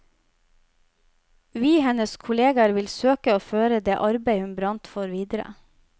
Vi, hennes kolleger, vil søke å føre det arbeidet hun brant for, videre.